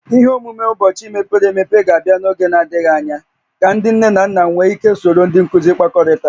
Ihe omume ụbọchị mepere emepe ga-abịa n'oge na-adịghị anya ka ndị nne na nna nwee ike soro ndị nkuzi kpakọrịtaa